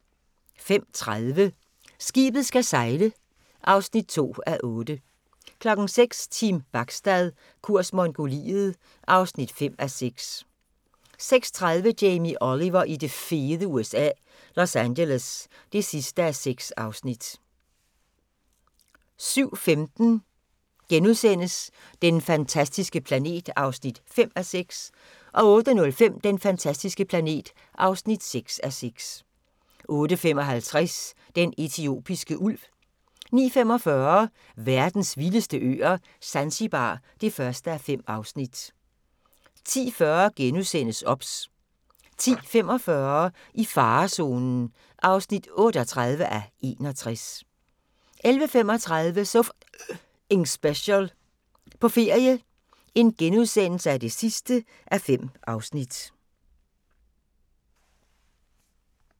05:30: Skibet skal sejle (2:8) 06:00: Team Bachstad – kurs Mongoliet (5:6) 06:30: Jamie Oliver i det fede USA – Los Angeles (6:6) 07:15: Den fantastiske planet (5:6)* 08:05: Den fantastiske planet (6:6) 08:55: Den etiopiske ulv 09:45: Verdens vildeste øer - Zanzibar (1:5) 10:40: OBS * 10:45: I farezonen (38:61) 11:35: So F***ing Special – på ferie (5:5)*